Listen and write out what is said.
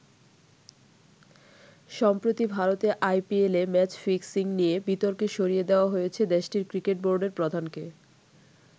সম্প্রতি ভারতে আইপিএলে ম্যাচ ফিক্সিং নিয়ে বিতর্কে সরিয়ে দেওয়া হয়েছে দেশটির ক্রিকেট বোর্ডের প্রধানকে।